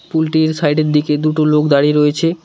পুলটির সাইডের দিকে দুটো লোক দাঁড়িয়ে রয়েছে।